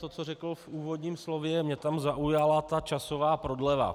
To, co řekl v úvodním slově, mě tam zaujala ta časová prodleva.